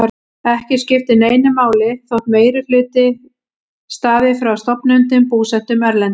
Ekki skiptir neinu máli þótt meirihluti hlutafjár stafi frá stofnendum búsettum erlendis.